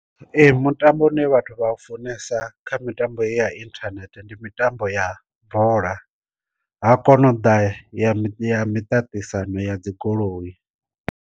Ee mutambo u ne vhathu vha funesa kha mitambo heyi ya inthanethe ndi mitambo ya bola, ha kona u ḓa ya miṱa ya miṱaṱisano ya dzi goloi.